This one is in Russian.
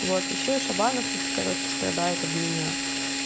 вот ещё и шабанов тут короче страдает об меня